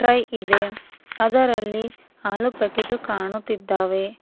Tray ಇದೆ ಅದರಲ್ಲಿ ಹಾಲು ಪ್ಯಾಕೇಟು ಕಾಣುತ್ತಿದ್ದಾವೆ.